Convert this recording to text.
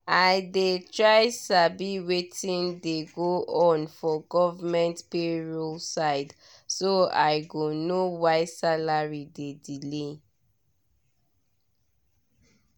i dey try sabi wetin dey go on for government payroll side so i go know why salary dey delay.